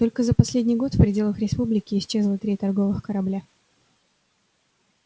только за последний год в пределах республики исчезло три торговых корабля